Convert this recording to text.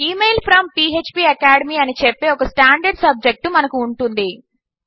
email from ఫ్పాకాడెమీ అని చెప్పే ఒక స్టాండర్డ్ సబ్జెక్ట్ మనము ఉంటుంది